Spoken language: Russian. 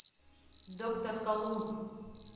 доктор колумб